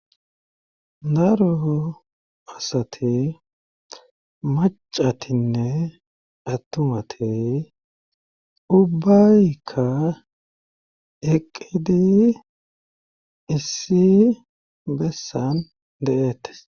daro asati macatinne attumati ubbaykka eqidi issi bessan de'eettes